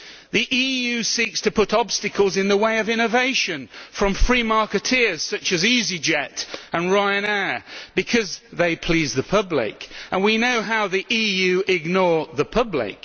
The EU seeks to put obstacles in the way of innovation from free marketeers such as Easyjet and Ryanair because they please the public, and we know how the EU ignores the public.